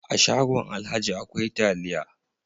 A shagon alhaji akwai taliya.